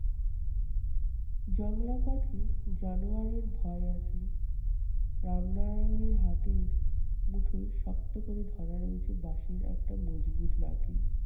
জংলাপথে জানোয়ারের ভয় আছে। রামনারায়ণের হাতের মুঠোয় শক্ত করে ধরা রয়েছে বাঁশের একটা মজবুত লাঠি।